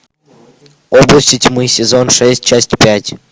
области тьмы сезон шесть часть пять